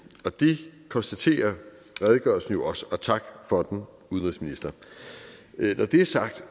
og det konstaterer redegørelsen jo også og tak for udenrigsminister når det er sagt